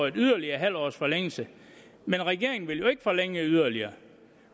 yderligere en halv års forlængelse men regeringen vil jo ikke forlænge yderligere